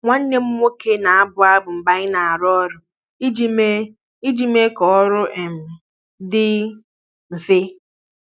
Nwanne m nwoke na-abụ abụ mgbe anyị na-arụ ọrụ iji mee iji mee ka ọrụ um dị mfe.